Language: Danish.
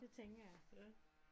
Det tænker jeg